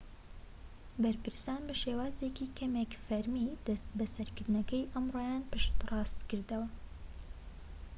بەرپرسان بە شێوازێکی کەمێك فەرمی دەست بەسەرکردنەکەی ئەمڕۆیان پشتڕاست کردەوە